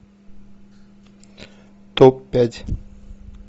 топ пять